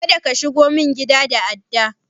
Kada ka shigo min gida da adda!